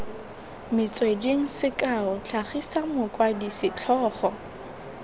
metsweding sekao tlhagisa mokwadi setlhogo